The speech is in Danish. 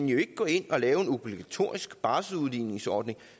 jo ikke gå ind og lave en obligatorisk barselsudligningsordning